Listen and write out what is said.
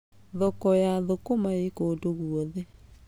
Thoko ya thũkũma ĩ kũndũ guothe.